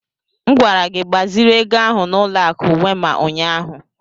M gwara gị gbaziri ego ahụ n'ụlọ akụ Wema ụnyahụ!